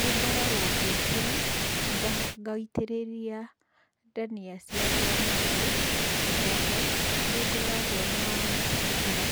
Nĩngoragwo ngĩũkĩra, ngaitĩrĩria ndania ciakwa maĩ. Oho, nĩ ngoragwo na mũtaratara